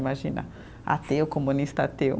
Imagina, ateu, comunista ateu.